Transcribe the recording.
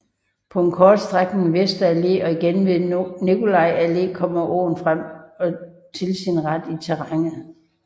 På en kort strækning ved Vesterallé og igen ved Nicolaiallé kommer åen frem og til sin ret i terrænet